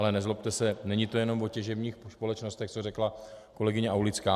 Ale nezlobte se, není to jenom o těžebních společnostech, co řekla kolegyně Aulická.